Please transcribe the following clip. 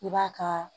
I b'a ka